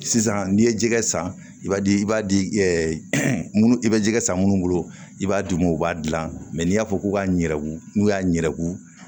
Sisan n'i ye jɛgɛ san i b'a di i b'a di munnu i bɛ jɛgɛ san munnu bolo i b'a d'u ma u b'a dilan n'i y'a fɔ k'u ka ɲagu n'u y'a ɲɛgu